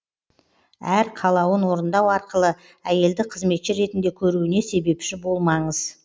әр қалауын орындау арқылы әйелді қызметші ретінде көруіне себепші болмаңыз